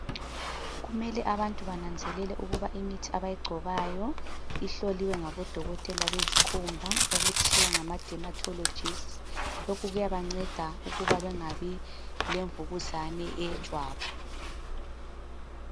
Kumele abantu bananzelele ukuba imithi abayigcobayo ihloliwe ngabodokotela bezikhumba okuthiwa ngama- dermatologists. Lokhu kuyabanceda ukuba bengabi lemvukuzane eyejwabu.